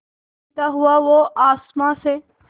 गिरता हुआ वो आसमां से